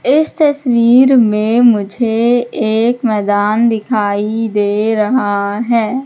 इस तस्वीर में मुझे एक मैदान दिखाई दे रहा है।